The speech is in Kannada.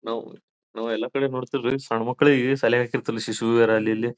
ನಾವು ನಾವು ಎಲ್ಲ ಕಡೆ ನೋಡ್ತಿವಿರೀ ಸಣ್ಣ್ ಮಕ್ಕಳಿಗೆ ಶಾಲೆಗೆ ಹಾಕಿರ್ತಾರಲ್ಲ ಶಿಶು ವಿಹಾರ ಅಲ್ಲಿ ಇಲ್ಲಿ--